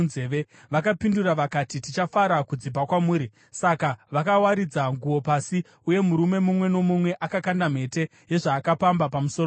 Vakapindura vakati, “Tichafara kudzipa kwamuri.” Saka vakawaridza nguo pasi, uye murume mumwe nomumwe akakanda mhete yezvaakapamba pamusoro payo.